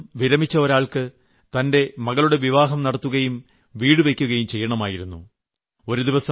സർവ്വീസിൽ നിന്നും വിരമിച്ച ഒരാൾക്ക് തന്റെ മകളുടെ വിവാഹം നടത്തുകയും വീട് വയ്ക്കുകയും ചെയ്യണമായിരുന്നു